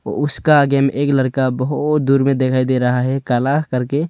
उसका आगे में एक लरका बहोत दूर में दिखाई दे रहा है काला करके।